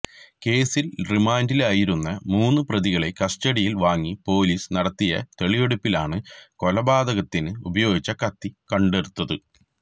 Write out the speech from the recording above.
കേസില് റിമാന്ഡിലായിരുന്ന മൂന്നു പ്രതികളെ കസ്റ്റഡിയില് വാങ്ങി പൊലീസ് നടത്തിയ തെളിവെടുപ്പിലാണ് കൊലപാതകത്തിന് ഉപയോഗിച്ച കത്തി കണ്ടെടുത്തത്